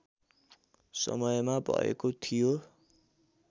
समयमा भएको थियो